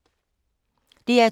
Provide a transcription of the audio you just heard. DR2